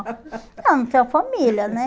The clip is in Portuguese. Não, não tenho família, né?